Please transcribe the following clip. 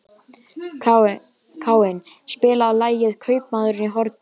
Káinn, spilaðu lagið „Kaupmaðurinn á horninu“.